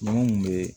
Munnu be